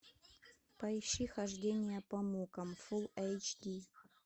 поищи хождение по мукам фулл эйч ди